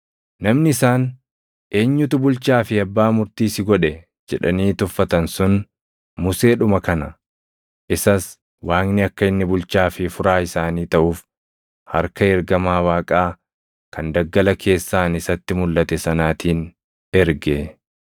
“Namni isaan, ‘Eenyutu bulchaa fi abbaa murtii si godhe?’ jedhanii tuffatan sun Museedhuma kana. Isas Waaqni akka inni bulchaa fi furaa isaanii taʼuuf harka ergamaa Waaqaa kan daggala keessaan isatti mulʼate sanaatiin erge.